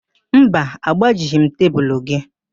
Mba, agbajighị m tebulu gị